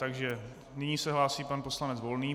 Takže nyní se hlásí pan poslanec Volný.